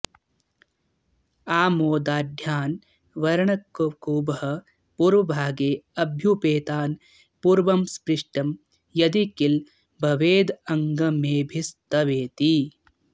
आमोदाढ्यान् वरुणककुभः पूर्वभागेऽभ्युपेतान् पूर्वं स्पृष्टं यदि किल भवेदङ्गमेभिस्तवेति